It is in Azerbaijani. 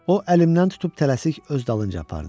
O əlimdən tutub tələsik öz dalınca apardı.